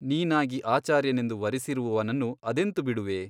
ನೀನಾಗಿ ಆಚಾರ್ಯನೆಂದು ವರಿಸಿರುವವನನ್ನು ಅದೆಂತು ಬಿಡುವೆ ?